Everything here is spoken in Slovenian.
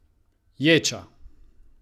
Ječa!